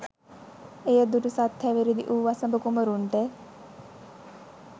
එය දුටු සත් හැවිරිදි වූ වසභ කුමරුන්ට